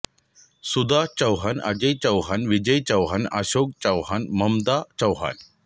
Sudha Chauhan Ajay Chauhan Vijay Chauhan Ashok Chauhan Mamta Chouhan